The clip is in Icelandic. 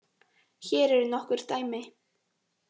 Hér eru nokkur dæmi: